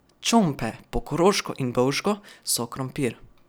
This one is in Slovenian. Čompe, po koroško in bovško, so krompir.